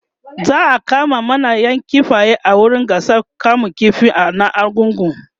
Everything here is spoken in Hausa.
za'a kama manayan kifaye a wurin gasar kamun ƙifi na argungu